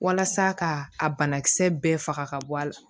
Walasa ka a banakisɛ bɛɛ faga ka bɔ a la